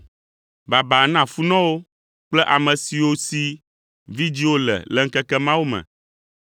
“Baba na funɔwo kple ame siwo si vidzĩwo le le ŋkeke mawo me.